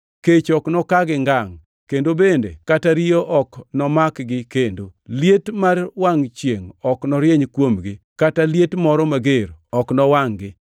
Kech ok nokagi ngangʼ kendo bende kata riyo ok nomak gi kendo. Liet mar wangʼ chiengʼ ok norieny kuomgi kata liet moro mager ok nowangʼ-gi.